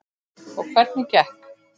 Og hvernig gekk?